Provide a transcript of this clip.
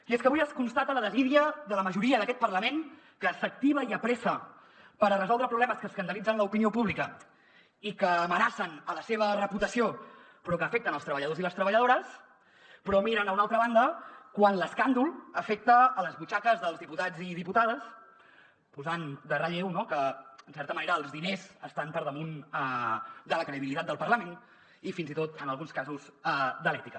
i és que avui es constata la desídia de la majoria d’aquest parlament que s’activa i apressa per resoldre problemes que escandalitzen l’opinió pública i que amenacen la seva reputació però que afecten els treballadors i les treballadores però miren a una altra banda quan l’escàndol afecta les butxaques dels diputats i diputades posant en relleu que en certa manera els diners estan per damunt de la credibilitat del parlament i fins i tot en alguns casos de l’ètica